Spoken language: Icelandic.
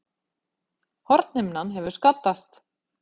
Hornhimnan hefur skaddast